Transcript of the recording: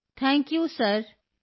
thank you sir thank you ਸਿਰ